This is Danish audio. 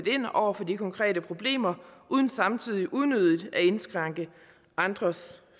ind over for de konkrete problemer uden samtidig unødigt at indskrænke andres